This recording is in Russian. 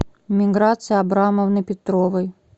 миграции абрамовны петровой